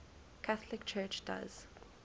catholic church does